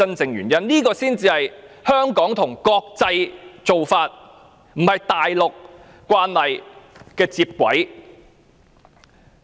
這樣，香港才是依循國際做法，而不是與大陸慣例接軌。